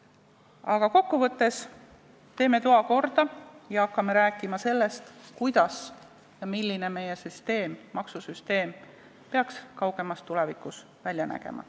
Aga kokku võttes, teeme toa korda ning hakkame rääkima sellest, kuidas peaks meie maksusüsteem kaugemas tulevikus välja nägema.